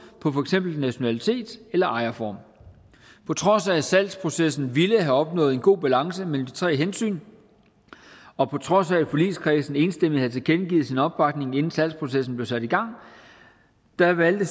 i nationalitet eller ejerform på trods af at salgsprocessen ville have opnået en god balance mellem de tre hensyn og på trods af at forligskredsen enstemmigt havde tilkendegivet sin opbakning inden salgsprocessen blev sat i gang valgte